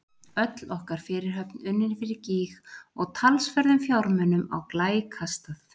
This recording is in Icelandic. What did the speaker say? Öll okkar fyrirhöfn unnin fyrir gýg og talsverðum fjármunum á glæ kastað.